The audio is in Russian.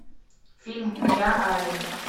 фильм я али